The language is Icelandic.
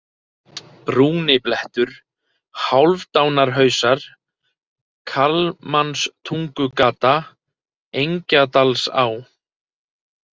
Brúniblettur, Hálfdanarhausar, Kalmanstungugata, Engjadalsá